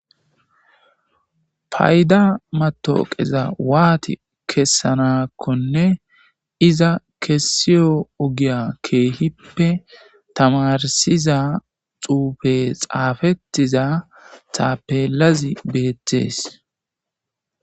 Payda matoqeza waayi kesanakonne iza kesiyo ogiya keehippe tamarsiza xuufey xaafetizs tapelazi beetes.